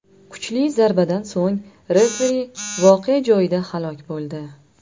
Kuchli zarbadan so‘ng referi voqea joyida halok bo‘ldi.